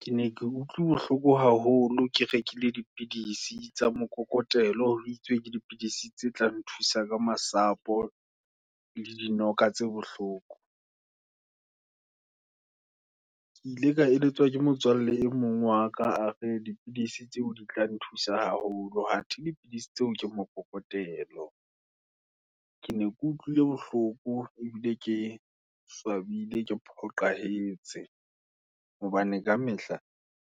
Ke ne ke utlwe bohloko haholo, ke rekile dipidis, i tsa mokokotlo, ho itswe ke dipidisi tse tla nthusa ka masapo, le dinoka tse bohloko, ke ile ka eletswa ke motswalle e mong waka, a re dipidisi tseo, di tla nthusa haholo, athe dipidisi tseo ke mokokotlo. Ke ne ke utlwile bohloko, ebile ke swabile, ke phoqahetse, hobane ka mehla,